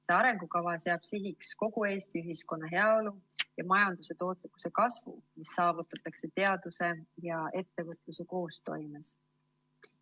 See arengukava seab sihiks kogu Eesti ühiskonna heaolu ja majanduse tootlikkuse kasvu, mis saavutatakse teaduse ja ettevõtluse koostoimes.